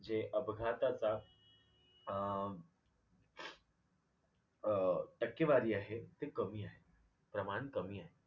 जे अपघाताचा जा अं अ टक्केवारी आहे ते कमी आहे, प्रमाण कमी आहे.